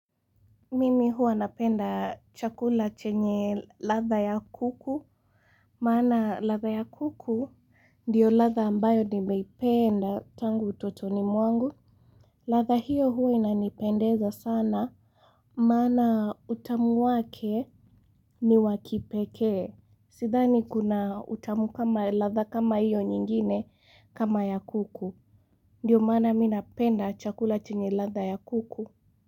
Mimi huwa napenda chakula chenye latha ya kuku maana latha ya kuku ndiyo latha ambayo nimeipenda tangu utotoni mwangu latha hiyo huwa inanipendeza sana maana utamu wake ni wakipeke Sidhani kuna utamu kama latha kama hiyo nyingine kama ya kuku Ndiyo maana minapenda chakula chenye latha ya kuku.